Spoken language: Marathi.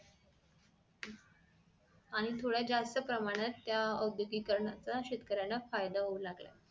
आणि थोड्या जास्त प्रमाणात त्या ओद्योगीकरण्याचा शेतकऱ्याला फायदा होऊ लागला